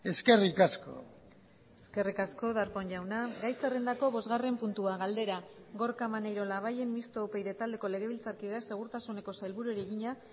eskerrik asko eskerrik asko darpón jauna gai zerrendako bosgarren puntua galdera gorka maneiro labayen mistoa upyd taldeko legebiltzarkideak segurtasuneko sailburuari egina